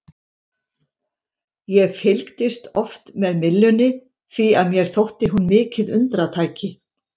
Ég fylgdist oft með myllunni því að mér þótti hún mikið undratæki.